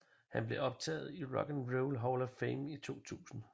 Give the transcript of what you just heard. Han blev optaget i Rock and Roll Hall of Fame i 2000